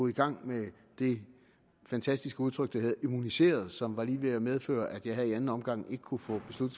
i gang med det fantastiske udtryk immuniseret som var lige ved at medføre at jeg her i anden omgang ikke kunne få